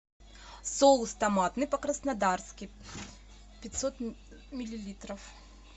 соус томатный по краснодарски пятьсот миллилитров